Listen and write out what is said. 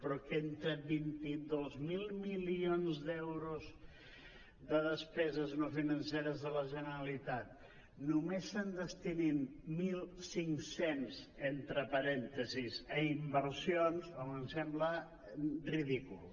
però que entre vint dos mil milions d’euros de despeses no financeres de la generalitat només se’n destinin mil cinc cents entre parèntesis a inversions home em sembla ridícul